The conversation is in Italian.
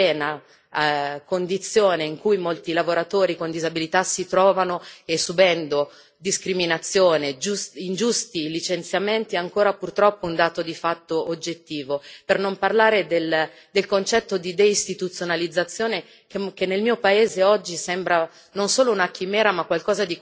L'accesso al lavoro e la brutta, oscena, condizione in cui molti lavoratori con disabilità si trovano, subendo discriminazione e ingiusti licenziamenti, sono ancora purtroppo un dato di fatto oggettivo, per non parlare del concetto di deistituzionalizzazione